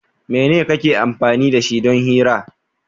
Mene kake amfani da shi don hira?